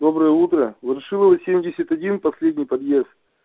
доброе утро ворошилова семьдесят один последний подъезд